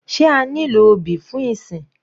Sé a nílò obì fún ìsìn?